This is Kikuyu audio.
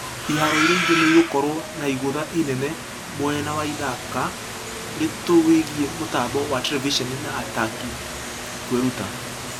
Iharo iria ingĩ nĩigũkorwo na igũtha inene mwena wa ithaka ritũwĩgie mũtambo wa terevisoni na ataki kwĩruta.